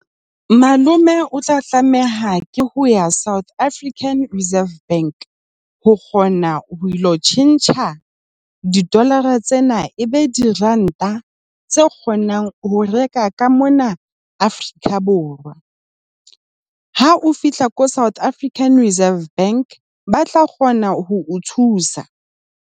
Malome, o tla tlameha ke ho ya South African Reserve Bank. Ho kgona ho ilo tjhentjha di-dollar-a tsena e be diranta tseo kgonang ho reka ka mona Afrika Borwa. Ha o fihla ko South African Reserve Bank ba tla kgona ho thusa.